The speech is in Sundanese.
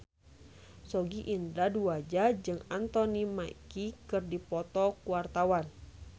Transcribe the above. Sogi Indra Duaja jeung Anthony Mackie keur dipoto ku wartawan